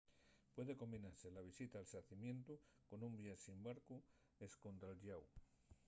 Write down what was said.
puede combinase la visita al xacimientu con un viaxe en barcu escontra’l llagu